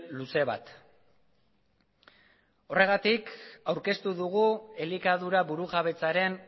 luze bat horregatik aurkeztu dugu elikadura burujabetzaren